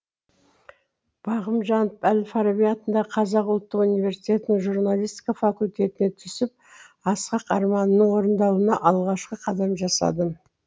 бағым жанып әл фараби атындағы қазақ ұлттық университетінің журналистика факультетіне түсіп асқақ арманымның орындалуына алғашқы қадам жасадым